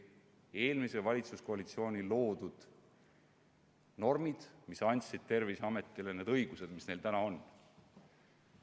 Eelmise valitsuskoalitsiooni loodud normid andsid Terviseametile need õigused, mis neil täna on.